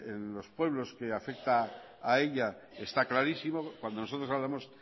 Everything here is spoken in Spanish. en los pueblos que afecta a ella está clarísimo cuando nosotros hablamos